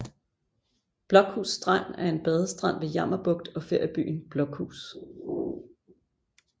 Blokhus Strand er en badestrand ved Jammerbugt og feriebyen Blokhus